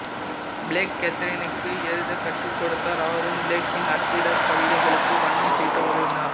plague கேத்தரினுக்கு எழுதக் கற்றுக்கொடுத்தார் அவரும் பிளேக்கின் அச்சிட்ட கவிதைகளுக்கு வண்ணம் தீட்ட உதவினார்